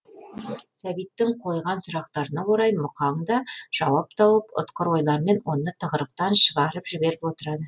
сәбиттің қойған сұрақтарына орай мұқаң да жауап тауып ұтқыр ойлармен оны тығырықтан шығарып жіберіп отырады